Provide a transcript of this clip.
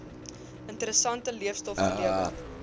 interessante leestof gelewer